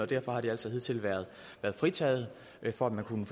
derfor har de altså hidtil været fritaget for at man kunne